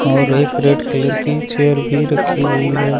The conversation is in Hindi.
और एक रेड कलर की चेयर भी रखी हुई है।